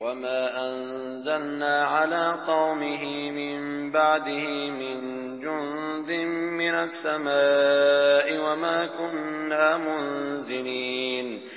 ۞ وَمَا أَنزَلْنَا عَلَىٰ قَوْمِهِ مِن بَعْدِهِ مِن جُندٍ مِّنَ السَّمَاءِ وَمَا كُنَّا مُنزِلِينَ